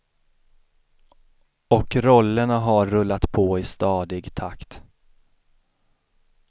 Och rollerna har rullat på i stadig takt.